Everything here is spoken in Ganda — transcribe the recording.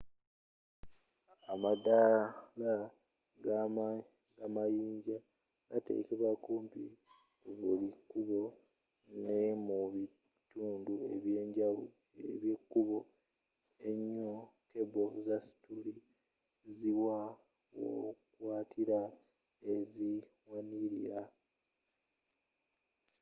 amadaala g'amayinja gatekebwa kumpi ku buli kkubo ne mu bitundu eby'ebiko enyo keble za stilu ziwa wokwatira eziwanilira